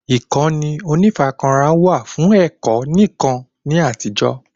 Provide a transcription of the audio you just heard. Ìkànnì onífarakínra wà fún ẹ̀kọ́ nìkan ni àtijó